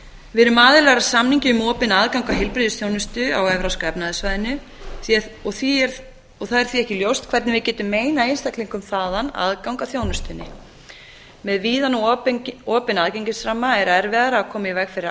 við erum aðilar að samningi um opinn aðgang að heilbrigðisþjónustu á evrópska efnahagssvæðinu það er því ekki ljóst hvernig við getum meinað einstaklingum þaðan aðgang að þjónustunni með víðan og opinn aðgengisramma er erfiðara að koma í veg fyrir